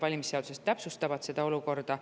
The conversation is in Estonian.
Valimisseadused täpsustavad seda olukorda.